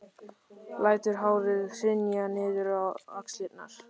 Lætur hárið hrynja niður á axlirnar.